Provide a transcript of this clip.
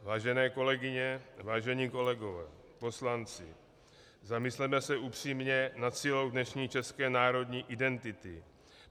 Vážené kolegyně, vážení kolegové poslanci, zamysleme se upřímně nad silou dnešní české národní identity.